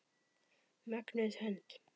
Mögnuð hönd.